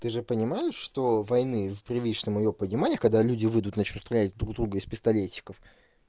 ты же понимаешь что войны в привычном её понимаях когда люди выйдут насчёт связи друг друга из пистолетиков